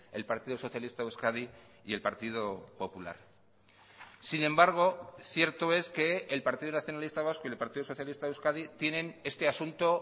el partido socialista de euskadi y el partido popular sin embargo cierto es que el partido nacionalista vasco y el partido socialista de euskadi tienen este asunto